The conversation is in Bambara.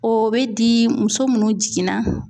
O bɛ di muso minnu jiginna